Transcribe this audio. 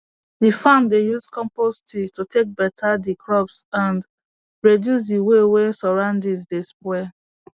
d farm dey use compost tea to take beta the crops and reduce d way wey surroundings dey spoil